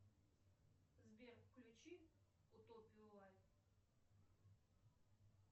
сбер включи утопию лайт